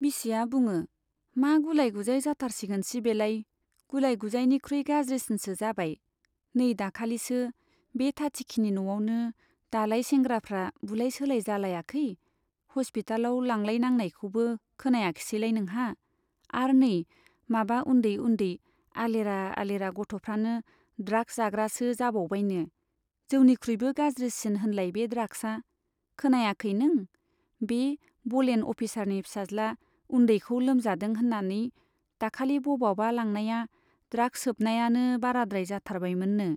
बिसिया बुङो, मा गुलाय गुजाय जाथारसिगोनसि बेलाय, गुलाय गुजायनिख्रुइ गाज्रिसिनसो जाबाय। नै दाखालिसो बे थाथिखिनि न'आवनो दालाय सेंग्राफ्रा बुलाय सोलाय जालायाखै ? हस्पितालाव लांलायनांनायखौबो खोनायाखिसैलाय नोंहा ? आर नै माबा उन्दै उन्दै , आलेरा आलेरा गथ' फ्रानो ड्राग्स जाग्रासो जाबावबायनो, जौनिख्रुइबो गाज्रिसिन होनलाय बे ड्राग्सआ ? खोनायाखै नों ? बे बलेन अफिसारनि फिसाज्ला उन्दैखौ लोमजादों होन्नानै दाखालि बबावबा लांनाया ड्राग्स सोबनायानो बाराद्राय जाथारबायमोननो ?